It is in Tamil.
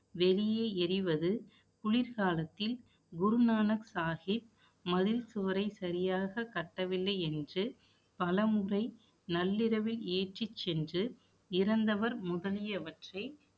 வெளியே எறிவது, குளிர்காலத்தில், குருநானக் சாகிப், மதில் சுவரை சரியாக கட்டவில்லை என்று, பலமுறை நள்ளிரவில் ஏற்றிச் சென்று